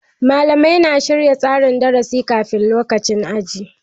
Malamai na shirya tsarin darasi kafin lokacin aji.